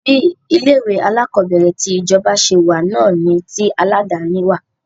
Bí ilé ìwé alákọ̀berẹ̀ ti ìjọba ṣe wà náà ni tí aládàni wà.